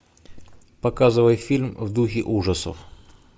показывай фильм в духе ужасов